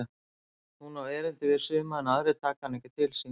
Hún á erindi við suma en aðrir taka hana ekki til sín.